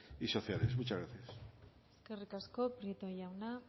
y sociales muchas gracias eskerrik asko prieto jauna